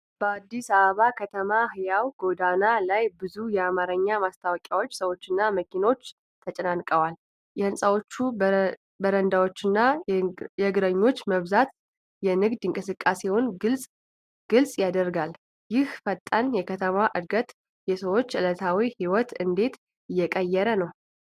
በአዲስ አበባ ከተማ ሕያው ጎዳና ላይ ብዙ የአማርኛ ማስታወቂያዎች፣ ሰዎችና መኪኖች ተጨናንቀዋል። የሕንጻዎቹ በረንዳዎችና የእግረኞች መብዛት የንግድ እንቅስቃሴውን ግልጽ ያደርጋል። ይህ ፈጣን የከተማ ዕድገት የሰዎችን ዕለታዊ ሕይወት እንዴት እየቀየረው ነው?